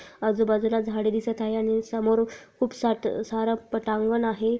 आजु बाजू ला झाडे दिसत आहे आणि समोर खुप साट सार पटांगण आहे.